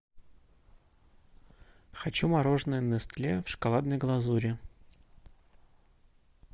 хочу мороженое нестле в шоколадной глазури